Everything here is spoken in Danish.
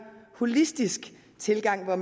holistisk tilgang ved at